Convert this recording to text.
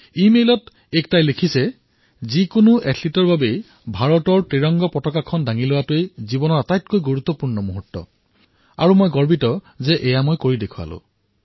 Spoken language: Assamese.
ইমেইলত একতাই লিখিছে কোনো এজন এথলীটৰ জীৱনৰ আটাইতকৈ মহত্বপূৰ্ণ ক্ষণ সেইটোৱেই যেতিয়া তেওঁ ত্ৰিৰংগা ধাৰণ কৰে আৰু মই গৌৰৱবোধ কৰিছোঁ কিয়নো মই কৰি দেখুৱালো